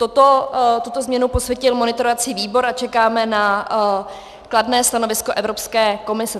Tuto změnu posvětil monitorovací výbor a čekáme na kladné stanovisko Evropské komise.